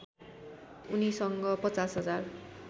उनीसँग ५० हजार